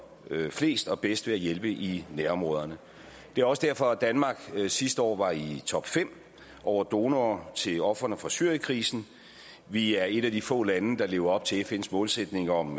flest og bedst ved at hjælpe i nærområderne det er også derfor at danmark sidste år var i topfem over donorer til ofrene for syrienskrisen vi er et af de få lande der lever op til fns målsætning om